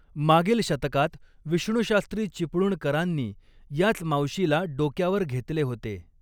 मागील शतकात विष्णुशास्त्री चिपळूणकरांनी याच मावशीला डोक्यावर घेतले होते.